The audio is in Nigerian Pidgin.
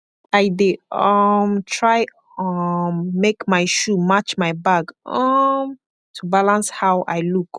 i dey um try um make mai shoe match mai bag um to balance how i look